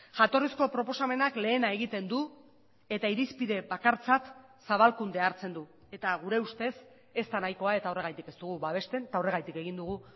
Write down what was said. jatorrizko proposamenak lehena egiten du eta irizpide bakartzat zabalkundea hartzen du eta gure ustez ez da nahikoa eta horregatik ez dugu babesten eta horregatik egin dugu